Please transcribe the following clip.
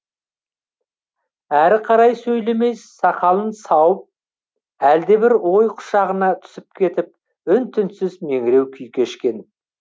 әрі қарай сөйлемей сақалын сауып әлдебір ой құшағына түсіп кетіп үн түнсіз меңіреу күй кешкен